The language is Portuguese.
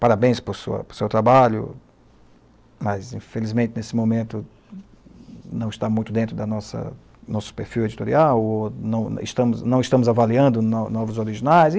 Parabéns por sua, por seu trabalho, mas, infelizmente, nesse momento não está muito dentro do nosso nosso perfil editorial ou não estamos, não estamos avaliando novos originais.